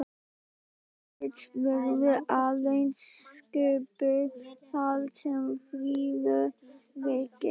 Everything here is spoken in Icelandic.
Fögur list verður aðeins sköpuð þar sem friður ríkir.